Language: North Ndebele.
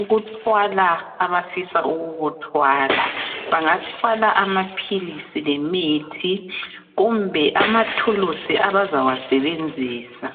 ukuthwala abafisa ukukuthwala bangathwala amaphilisi lemithi kumbe amathulusi abazawasebenzisa.